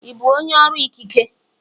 Ị bụ onye ọrụ ikike?